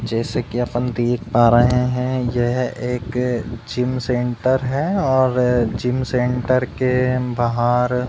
जैसे कि अपन देख पा रहे हैं यह एक जिम सेंटर है और जिम सेंटर के बाहर --